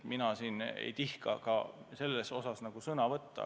Mina ei tihka sellel teemal sõna võtta.